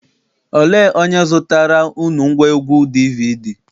Olee onye zụtaara unu ngwaegwu DVD?